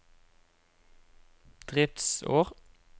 driftsår